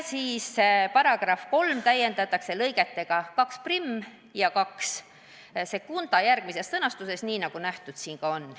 Lisaks täiendatakse § 3 lõigetega 21 ja 22 sellises sõnastuses, nagu eelnõus näha on.